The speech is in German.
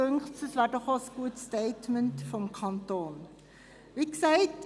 Uns dünkt, das wäre doch auch ein gutes Statement vonseiten des Kantons.